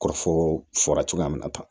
Kɔrɔfɔ fɔra cogoya min na tan